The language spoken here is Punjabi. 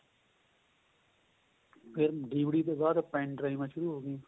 ਫ਼ੇਰ DVD ਤੋ ਬਾਅਦ pen ਡਰਾਈਵਾਂ ਸ਼ੁਰੂ ਹੋ ਗਈਆਂ